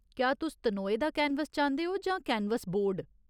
क्या तुस तनोए दा कैनवस चांह्दे ओ जां कैनवस बोर्ड ?